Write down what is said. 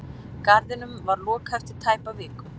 Garðinum var lokað eftir tæpa viku